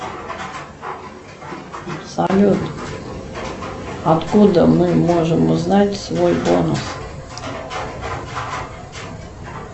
салют откуда мы можем узнать свой бонус